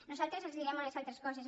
nosaltres els direm unes altres coses